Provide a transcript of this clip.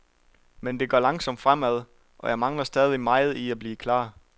Men det går langsomt fremad, og jeg mangler stadig meget i at blive klar.